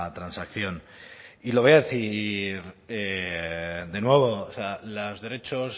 transacción y lo voy a decir de nuevo o sea los derechos